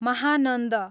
Mahananda